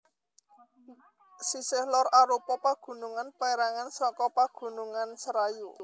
Sisih lor arupa pagunungan pérangan saka Pagunungan Serayu